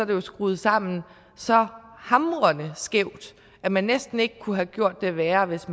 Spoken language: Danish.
det jo skruet sammen så hamrende skævt at man næsten ikke kunne have gjort det værre hvis